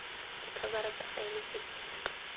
dikhabara tsa faele tse di